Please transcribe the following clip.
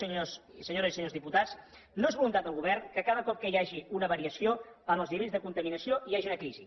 senyores i senyors diputats no és voluntat del govern que cada cop que hi hagi una variació en els nivells de contaminació hi hagi una crisi